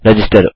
register